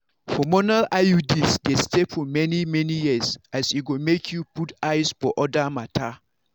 hormonal iuds dey stay for many-many years as e go make you put eyes for other matters.